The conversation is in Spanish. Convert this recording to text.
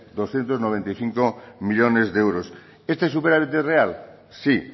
doscientos noventa y cinco millónes de euros este superávit es real sí